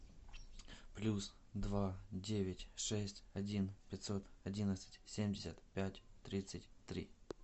плюс два девять шесть один пятьсот одиннадцать семьдесят пять тридцать три